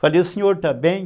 Falei, o senhor está bem?